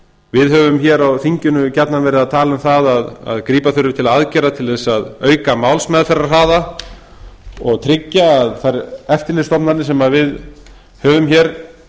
við höfum hér á þinginu gjarnan verið að tala um það að grípa þurfi til aðgerða til að auka málsmeðferðarhraða og tryggja að þær eftirlitsstofnanir sem við höfum hér